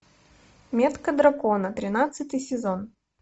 метка дракона тринадцатый сезон